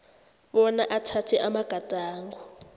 bona athathe amagadango